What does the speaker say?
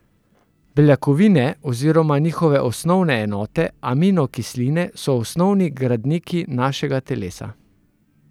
Beljakovine oziroma njihove osnovne enote, aminokisline, so osnovni gradniki našega telesa.